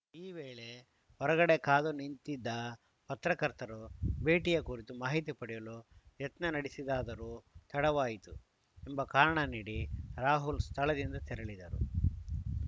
ಈ ವೇಳೆ ಹೊರಗಡೆ ಕಾದು ನಿಂತಿದ ಪತ್ರಕರ್ತರು ಭೇಟಿಯ ಕುರಿತು ಮಾಹಿತಿ ಪಡೆಯಲು ಯತ್ನ ನಡೆಸಿದರಾದರೂ ತಡವಾಯಿತು ಎಂಬ ಕಾರಣ ನೀಡಿ ರಾಹುಲ್‌ ಸ್ಥಳದಿಂದ ತೆರಳಿದರು